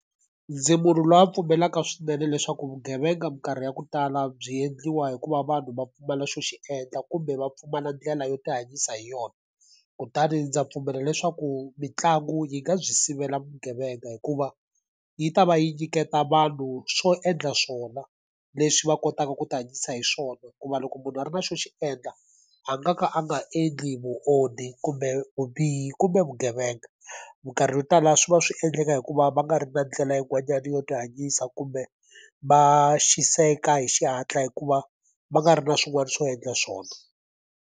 Ndzi munhu lowu a pfumelaka swinene leswaku vugevenga minkarhi ya ku tala byi endliwa hikuva vanhu va pfumala xo xi endla kumbe va pfumala ndlela yo ti hanyisa hi yona. Kutani ndza pfumela leswaku mitlangu yi nga byi sivela vugevenga hikuva, yi ta va yi nyiketa vanhu swo endla swona leswi va kotaka ku tihanyisa hi swona. Hikuva loko munhu a ri na xo xi endla, a nga ka a nga endli vonhi, kumbe vubihi, kumbe vugevenga. Minkarhi yo tala swi va swi endleka hikuva va nga ri na ndlela yin'wanyana yo tihanyisa kumbe, va xaniseka hi xihatla hikuva va nga ri na swin'wana swo endla swona.